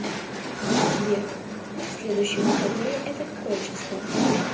сбер следующие выходные это какое число